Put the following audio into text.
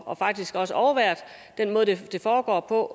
og faktisk også overværet den måde det foregår på